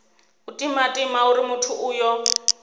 u timatima uri muthu uyo